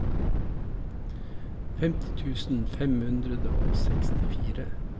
femti tusen fem hundre og sekstifire